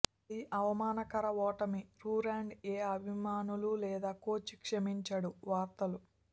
అది అవమానకర ఓటమి డురాండ్ ఏ అభిమానులు లేదా కోచ్ క్షమించడు వార్తలు